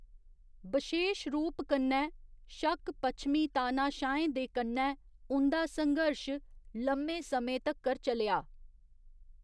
बशेश रूप कन्नै शक पच्छमी तानाशाहें दे कन्नै उं'दा संघर्श लम्मे समें तक्कर चलेआ।